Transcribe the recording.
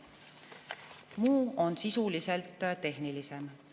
Muud on tehnilisemad.